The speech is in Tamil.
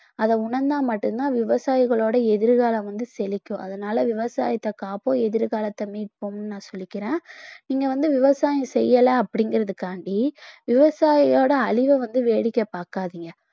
அதை உணர்ந்தா மட்டும்தான் விவசாயிகளோட எதிர்காலம் வந்து செழிக்கும் அதனால விவசாயத்தை காப்போம் எதிர்காலத்தை மீட்போம்ன்னு நான் சொல்லிக்கிறேன் நீங்க வந்து விவசாயம் செய்யல அப்படிங்கிறதுக்காக வேண்டி விவசாயியோட அழிவை வந்து வேடிக்கை பார்க்காதீங்க